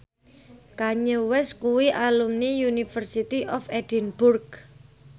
Kanye West kuwi alumni University of Edinburgh